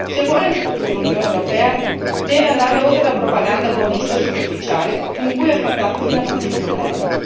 Se vuole in futuro l'Unione europea deve andare oltre la propaganda buonista e superficiale con cui ha affrontato fino ad oggi i problemi.